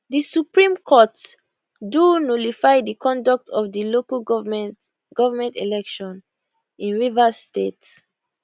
di supreme court do nullify di conduct of the local government government election in rivers state